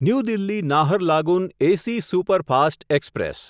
new Delhi Naharlagun AC superfast express